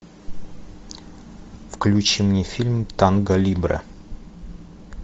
включи мне фильм танго либре